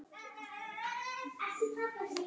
Byrjunarliðin koma inn rétt bráðum.